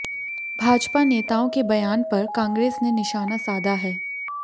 भाजपा नेताओं के बयान पर कांग्रेस ने निशाना साधा है